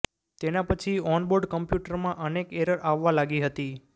તેના પછી ઓનબોર્ડ કમ્પ્યુટરમાં અનેક એરર આવવા લાગી હતી